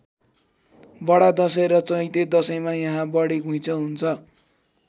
बडा दशैँ र चैते दशैँमा यहाँ बढी घुइँचो हुन्छ।